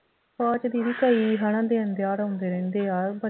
ਕੁਛ ਦੀਦੀ ਸਹੀ ਹੈ ਨਾ ਦਿਨ ਤਿਉਹਾਰ ਆਉਂਦੇ ਰਹਿੰਦੇ ਆ